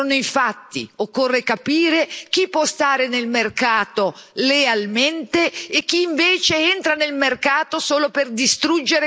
Occorre capire chi può stare nel mercato lealmente e chi invece entra nel mercato solo per distruggere quello europeo.